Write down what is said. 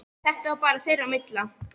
Þetta var bara þeirra á milli.